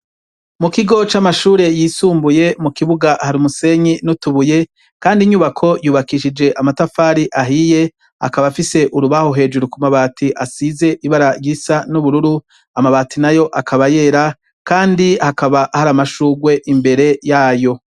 Mukigo c’amashure y’isumbuye, har’umusenyi n’utubuye kand’inyubako yubakishije amatafari ahiye akaba afise urubaho hejuru kumabati asize ibara risa n’ubururu, amabati nayo akaba yera, Kandi hakaba har’amashugwe imbere yayo.